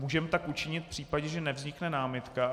Můžeme tak učinit v případě, že nevznikne námitka.